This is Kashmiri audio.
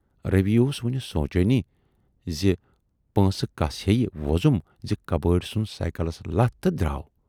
" روی اوس وُنہِ سونچانٕے زِ پۄنٛسہٕ کَس ہییہِ وۅزُم زِ کبٲڑۍ ژھُنۍ سائیکلس لتھ تہٕ دراو۔